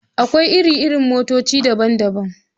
Akwai iri-iri motoci daban-daban.